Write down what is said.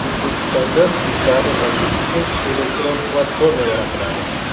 O‘zbekistonda yuklarni tashish uchun elektron platforma yaratiladi.